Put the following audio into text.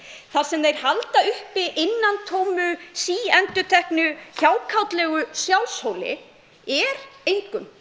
þar sem þeir halda uppi innantómu síendurteknu hjákátlegu sjálfshóli er engum